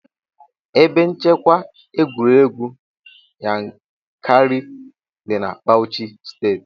Ebe nchekwa egwuregwu Yankari dị na Bauchi steeti.